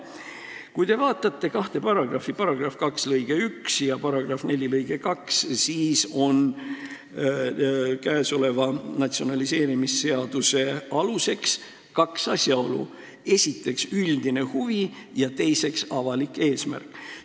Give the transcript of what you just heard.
Kui te vaatate kahte sätet, § 2 lõiget 1 ja § 4 lõiget 2, siis te näete, et selle natsionaliseerimisseaduse aluseks on kaks asjaolu: esiteks, üldine huvi, ja teiseks, avalik eesmärk.